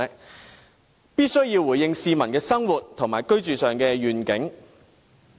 政府必須回應市民在生活和居住上的願景。